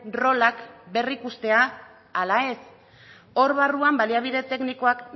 rolak berrikustea ala ez hor barruan baliabide teknikoak